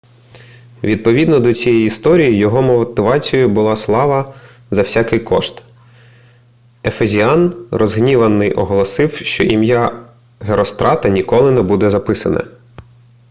відповідно до цієї історії його мотивацією була слава за всякий кошт ефезіан розгніваний оголосив що ім'я герострата ніколи не буде записане